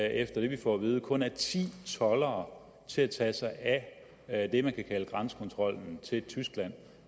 efter det vi får at vide formentlig kun er ti toldere til at tage sig af det man kan kalde grænsekontrollen til tyskland